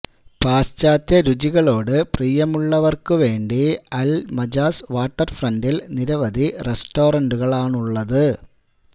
പാശ്ചാത്യ രുചികളോട് പ്രിയമുള്ളവര്ക്കു വേണ്ടി അല് മജാസ് വാട്ടര് ഫ്രണ്ടിൽ നിരവധി റെസ്റ്റോറന്റുകളാണുള്ളത്